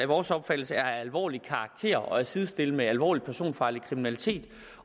vores opfattelse er af alvorlig karakter og kan sidestilles med alvorlig personfarlig kriminalitet